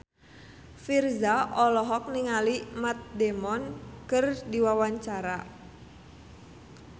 Virzha olohok ningali Matt Damon keur diwawancara